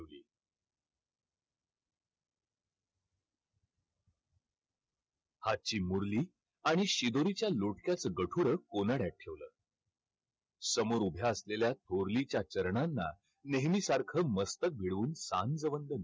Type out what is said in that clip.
हातची मुरली आणि शिदोरीच्या लोटक्याचं गठुडं कोनाड्यात ठेवलं. समोर उभ्या असलेल्या थोरलीच्या चरणांना नेहमीसारखं मस्तक भिडवून वंदन